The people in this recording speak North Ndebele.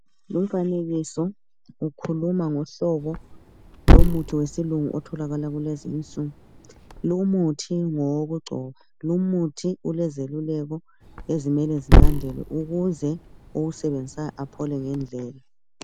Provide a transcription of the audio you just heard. Lumfanekiso ukhuluma ngohlobo lomuthi wesilungu otholakala kulezi insuku lumuthi ngowokugcoba. Lumuthi ulezeluleko ezimele zilandelwe ukuze owusebenzisayo aphole ngendlela.